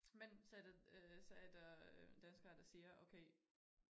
Men så der øh så er der danskere der siger okay